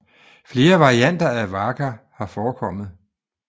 Flere varianter af waka har forekommet